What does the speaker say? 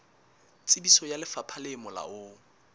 tsebiso ya lefapha le molaong